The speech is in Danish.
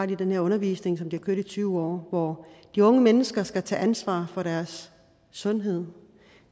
den her undervisning som de har kørt i tyve år hvor de unge mennesker skal tage ansvar for deres sundhed